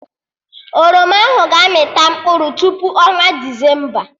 Oroma ahụ ga-amị ta mkpụrụ tupu ọnwa Desemba